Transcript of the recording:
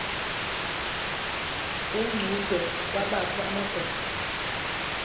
yengcubhe kwabakho amadoda